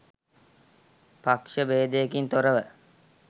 පක්ෂ බේදයකින් තොරව